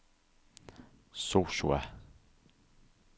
Sosua